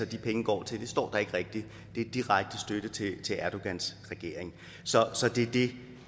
de penge går til det står der ikke rigtig det er direkte støtte til erdogans regering så så det er det